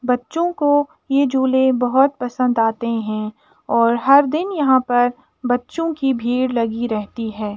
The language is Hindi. बच्चों को ये झूले बहोत पसन्द आते हैं और हर दिन यहाँ पर बच्चों की भीड़ लगी रहती है।